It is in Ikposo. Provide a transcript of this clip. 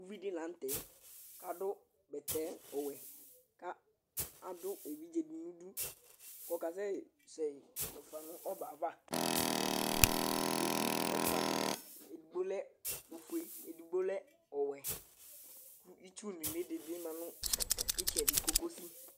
Ʊvɩ dɩlanutɛ adʊ bɛtɛfue Adu evɩɖze dinidu kɔkasɛ zɛƴi fuefa nɔbɛava Owʊvɛfʊa dima, edigbo lɛ ofue, edigbo lɛ ɔwɛ Itsʊ nuli dima nitsɛdi, kokosɩ